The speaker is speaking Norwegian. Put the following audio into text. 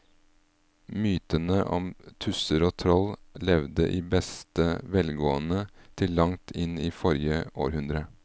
Mytene om tusser og troll levde i beste velgående til langt inn i forrige århundre.